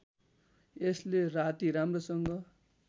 यसले राति राम्रोसँग